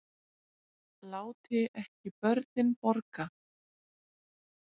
Láti ekki börnin borga